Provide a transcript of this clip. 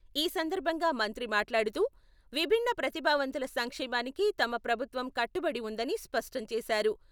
ఈ సందర్భంగా మంత్రి మాట్లాడుతూ విభిన్న ప్రతిభావంతుల సంక్షేమానికి తమ ప్రభుత్వం కట్టుబడి వుందని స్పష్టం చేశారు.